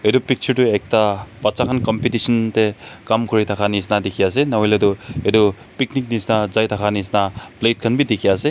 Etu picture tuh ekta bacha khan competition dae kam kure thaka neshina dekhe ase nohoile tuh etu picnic neshina jai thaka neshina plate khan bhi dekhe ase.